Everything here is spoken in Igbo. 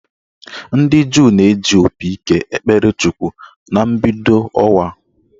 Ndị Juu na-eji opi ike ekpere Chukwu na mbido ọnwa